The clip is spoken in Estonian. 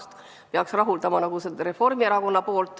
See viimane peaks rahuldama ka Reformierakonda.